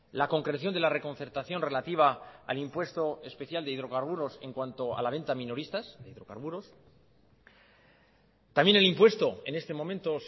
la concreción de la reconcertación relativa al impuesto especial de hidrocarburos en cuanto a la venta minoristas de hidrocarburos también el impuesto en este momento